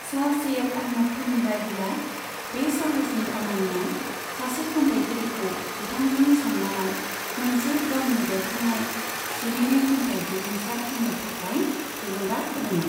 सार सैयद आहमद खाननि बायदिब्ला, बे साहसनि खामानिया सासे खन्थायगिरिखौ बिथांजोनि सन्मानाव मोनसे गावनो बेरखांनाय सिरिनै खन्थाइ बिबुंसार होनो थाखाय थुलुंगा होदोंमोन।